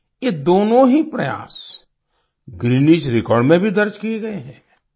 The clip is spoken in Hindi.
ये दोनों ही प्रयास गिनेस रेकॉर्ड में भी दर्ज किये गए हैं